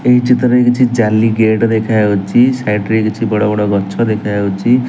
ଏହି ଚିତ୍ରରେ କିଛି ଜାଲି ଗେଟ୍ ଦେଖାଯାଉଛି ସାଇଡି ରେ କିଛି ବଡ଼ ବଡ଼ ଗଛ ଦେଖାଯାଉଛି।